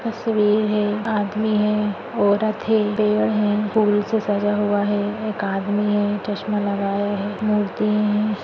तस्वीर है आदमी है औरत है पेड़ है फूल से सजा हुआ है एक आदमी है चस्मा लगाया है मूर्ति है।